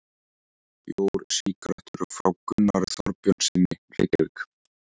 Bjór, sígarettur, frá Gunnari Þorbjörnssyni, Reykjavík.